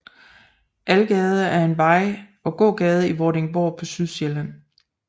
Algade er en vej og gågade i Vordingborg på Sydsjælland